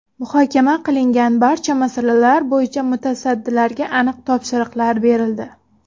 Muhokama qilingan barcha masalalar bo‘yicha mutasaddilarga aniq topshiriqlar berildi.